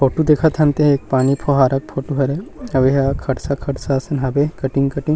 photo देखत हन ते एक पानी फ़ोहारा के फोटो हरे अऊ एहा खरसा-खरसा हवे कटिंग-कटिंग --